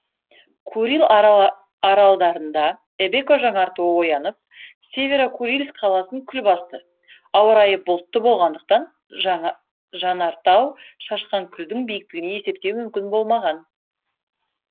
курил аралдарында эбеко жанартауы оянып северо курильск қаласын күл басты ауа райы бұлтты болғандықтан жанартау шашқан күлдің биіктігін есептеу мүмкін болмаған